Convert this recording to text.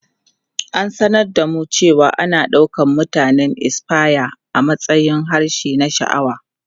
Ta sanar da mu cewa ana ɗaukar Mutanen Espanya a matsayin harshe na sha'awa.